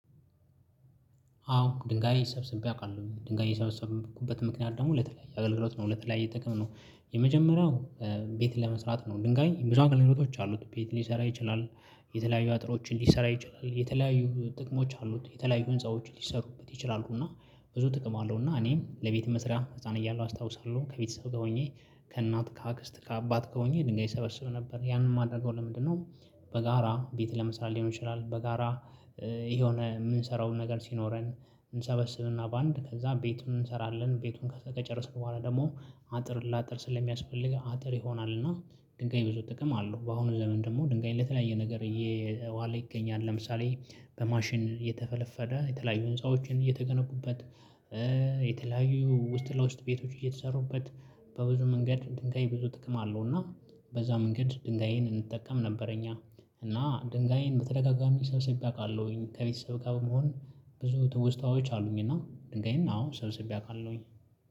አዎ ድንጋይ ሰብስቤ አውቃለሁ። ድንጋይ የሰበሰብኩበትም ምክንያት ደግሞ ለተለያየ አገልግሎት ነው። ለተለያየ ጥቅም ነው። የመጀመሪያው ቤት ለመስራት ነው። ድንጋይ ብዙ አገልግሎቶች አሉት። ቤት ሊሰራ ይችላል የተለያዩ አጥሮችን ሊሰራ ይችላል፣ የተለያዩ ጥቅሞች አሉት፣ የተለያዩ ህንፃዎች ሊሰሩበት ይችላሉ እና ብዙ ጥቅም አለው። እና እኔም ለቤት መስሪያ ህፃን እያለሁ አስታውሳለሁ፤ ከቤተሰብ ጋር ሆኜ ከእናት፣ ከአክስት፣ ከአባት ገር ሆኜ ድንጋይ እሰበስብ ነበር። ያንን የማደርገው ለምንድነው በጋራ ቤት ለመስራት ሊሆን ይችላል፤ በጋራ የሆነ የምንሰራው ነገር ሲኖረን እንሰበስብና በአንድ ከዛ ቤቱን እንሰራለን። ቤቱን ከጨረስን በኋላ ደግሞ አጥር ለአጥር ስለሚያስፈልግ አጥር ይሆናል እና ድንጋይ ብዙ ጥቅም አለው። በአሁኑ ዘመን ደግሞ ድንጋይ ለተለያየ ነገር እየዋለ ይገኛል። ለምሳሌ በማሽን እየተፈለፈለ የተለያዩ ህንፃዎችን እየተገነቡበት የተለያዩ ውስጥ ለውስጥ ቤቶች እየተሰሩበት በብዙ መንገድ ድንጋይ ብዙ ጥቅም አለው እና በዛ መንገድ ድንጋይን እንጠቀም ነበረ እኛ። እና ድንጋይን በተደጋጋሚ ሰብስቤ አውቃለሁኝ። ከቤተሰብ ጋር በመሆን ብዙ ትውስታዎች አሉኝ እና ድንጋይን አዎ ሰብስቤ አውቃለሁኝ።